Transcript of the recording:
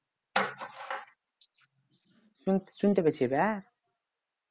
শুনতে শুনতে পেয়েছি এবার